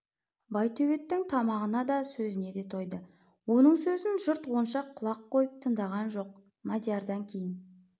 байтөбеттің тамағына да сөзіне де тойды оның сөзін жұрт онша құлақ қойып тыңдаған жоқ мадиярдан кейін